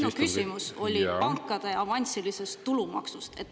Minu küsimus oli pankade avansilise tulumaksu kohta.